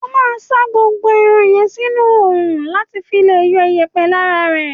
O ma ṣàn gbogbo ẹran yẹn nínú ọra lati fi le yọ iyèpè lara e.